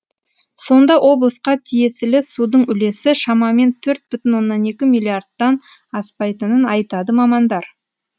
сонда облысқа тиесілі судың үлесі шамамен төрт бүтін оннан екі миллиардтан аспайтынын айтады мамандар